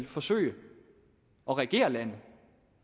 forsøge at regere landet